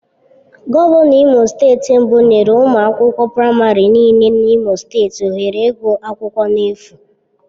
Gọvanọ Imo steeti mbụ nyere ụmụ akwụkwọ praịmarị nịle na imo steeti ohere ịgụ akwụkwọ na-efu.